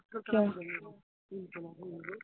কিয়